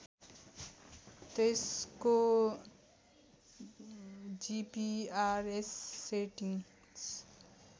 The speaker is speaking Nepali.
त्यसको जिपिआरएस सेटिङ